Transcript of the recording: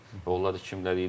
Və onlar da kimlər idi?